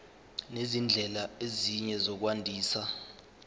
nezindlela ezinye zokwandisa